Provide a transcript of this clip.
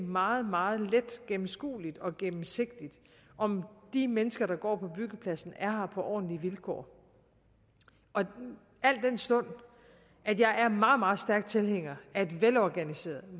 meget meget let gennemskueligt og gennemsigtigt om de mennesker der går på byggepladserne er på ordentlige vilkår al den stund at jeg er meget meget stærk tilhænger af et velorganiseret